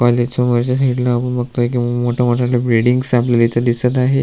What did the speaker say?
काॅलेजच्या समोरच्या साईड ब बगतोय की मोठ मोठ्या बिल्डिंगस आपल्याला दिसत आहे.